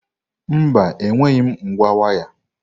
Mba, enweghị m ngwa waya.